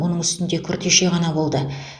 оның үстінде күртеше ғана болды